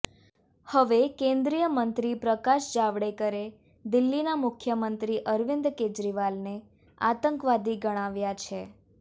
હવે કેન્દ્રીય મંત્રી પ્રકાશ જાવડેકરે દિલ્હીના મુખ્યમંત્રી અરવિંદ કેજરીવાલને આતંકવાદી ગણાવ્યા છે